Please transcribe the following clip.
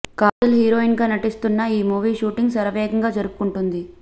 Kajal heroine గా నటిస్తున్న ఈ మూవీ షూటింగ్ శరవేగంగా జరుపుకుంటుంది